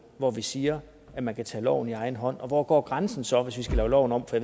hvor vi siger at man kan tage loven i egen hånd og hvor går grænsen så hvis vi skal lave loven om for